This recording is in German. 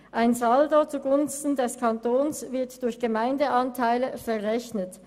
Ein Saldo zugunsten des Kantons wird durch Gemeindeanteile ausgeglichen.